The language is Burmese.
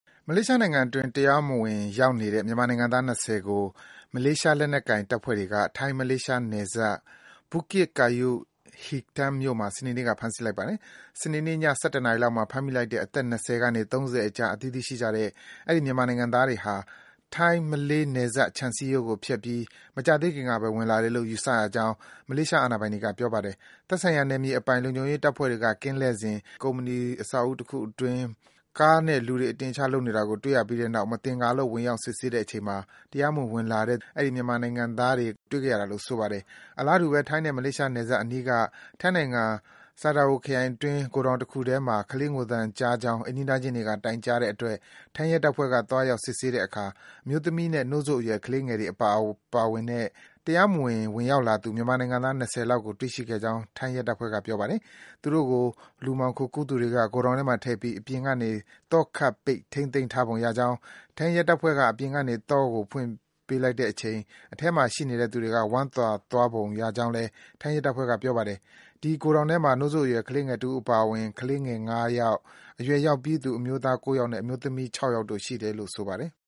မလေးရှားနိုင်ငံအတွင်း တရားမဝင် ရောက်နေတဲ့ မြန်မာနိုင်ငံသား ၂၀ ကို မလေးရှားလက်နက်ကိုင်တပ်ဖွဲ့တွေက ထိုင်း-မလေးရှားနယ်စပ် Bukit Kayu Hitam မြို့မှာ စနေနေ့က ဖမ်းဆီးလိုက်ပါတယ်။ စနေနေ့ည ၁၁ နာရီလောက်မှာ ဖမ်းမိလိုက်တဲ့ အသက် ၂၀ ကနေ ၃၀ အကြား အသီးသီးရှိကြတဲ့ အဲဒီ မြန်မာနိုင်ငံသားတွေဟာ ထိုင်း-မလေးနယ်စပ် ခြံစည်းကိုချိုးဖျက်ပြီး မကြာသေးခင်ကဘဲ ဝင်လာတယ်လို့ ယူဆရကြောင်း မလေးရှား အာဏာပိုင်တွေက ပြောပါတယ်။ သက်ဆိုင်ရာနယ်မြေအပိုင် လုံခြုံရေးတပ်ဖွဲ့တွေက ကင်းလှည့်စဉ် ကုမ္ပဏီအဆောက်အဦးတခုအတွင်း ကားနဲ့ လူတွေ အတင်အချ လုပ်နေတာကို တွေ့ပြီးတဲ့နောက် မသင်္ကာလို့ ဝင်ရောက် စစ်ဆေးတဲ့အချိန် တရားမဝင် ဝင်လာတဲ့ အဲဒီ မြန်မာနိုင်ငံသားတွေကို တွေ့ခဲ့ရတာလို့ ဆိုပါတယ်။ အလားတူဘဲ ထိုင်းနဲ့ မလေးရှားနယ်စပ်အနီးက ထိုင်းနိုင်ငံ၊ Sadao ခရိုင်အတွင်း ဂိုဒေါင်တခုထဲမှာ ကလေးငိုသံကြားကြောင်း အိမ်နီးနားချင်းတွေက တိုင်ကြားတဲ့အတွက် ထိုင်းရဲတပ်ဖွဲ့က သွားရောက် စစ်ဆေးစဉ် အမျိုးသမီးနဲ့ နို့စို့အရွယ် ကလေးငယ်တွေပါ ပါဝင်တဲ့ တရားမဝင် ဝင်ရောက်လာသူ မြန်မာနိုင်ငံသား ၂၀ လောက်ကို တွေ့ရှိခဲ့ကြောင်း ထိုင်းရဲတပ်ဖွဲ့က ပြောပါတယ်။ သူတို့ကို လူမှောင်ခိုကူးသူတွေက ဂိုဒေါင်ထဲမှထည့်ပြီး အပြင်ကနေ သောခတ်ပိတ် ထိန်းသိမ်းထားပုံရကြောင်း၊ ထိုင်းရဲတပ်ဖွဲ့က အပြင်ကနေ သော့ကိုဖွင့်လိုက်တဲ့အချိန် အထဲမှာရှိသူနေသူတွေက ဝမ်းသာသွားပုံရကြောင်းလည်း ထိုင်းရဲတပ်ဖွဲ့က ပြောပါတယ်။ အဲဒီ ဂိုဒေါင်ထဲမှာ နို့စို့အရွယ်တဦးအပါအဝင် ကလေး ၅ ယောက်၊ အရွယ်ရောက်ပြီးသူ ၉ ယောက်နဲ့ အမျိုးသမီး ၆ ယောက်တို့ ရှိနေတယ်လို့ ဆိုပါတယ်။